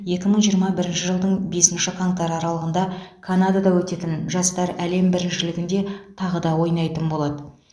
екі мың жиырма бірінші жылдың бесінші қаңтары аралығында канадада өтетін жастар әлем біріншілігінде тағы да ойнайтын болады